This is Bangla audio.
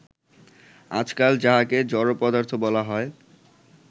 আজকাল যাহাকে জড় পদার্থ বলা হয়